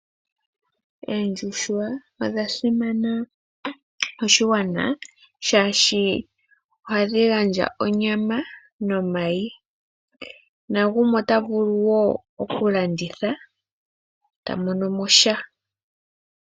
Oondjuhwa odha simana koshigwana shaashi ohadhi gandja onyama nomayi, nagumwe ota vulu woo okulanditha e ta mono mo sha.